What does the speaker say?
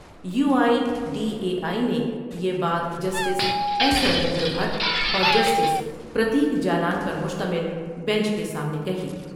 You I D A I نے یہ بات جسٹس ایس رویندر بھٹ اور جسٹس پر تیک جالان پرمشتمل بینچ کے سامنے کہی ۔